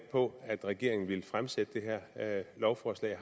på at regeringen vil fremsætte det her lovforslag